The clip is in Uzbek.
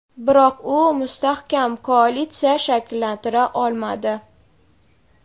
biroq u mustahkam koalitsiya shakllantira olmadi.